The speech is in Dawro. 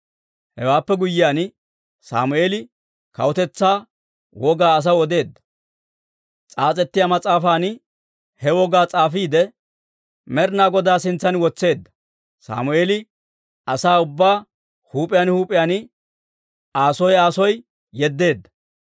Hewaappe guyyiyaan, Sammeeli kawutetsaa wogaa asaw odeedda; s'aas'ettiyaa mas'aafan he wogaa s'aafiide, Med'inaa Goday sintsan wotseedda. Sammeeli asaa ubbaa huup'iyaan huup'iyaan Aa soo Aa soo yeddeedda.